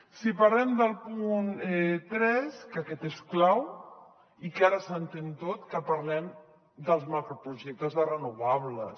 si parlem del punt tres que aquest és clau i que ara s’entén tot que parlem dels macroprojectes de renovables